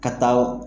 Ka taa o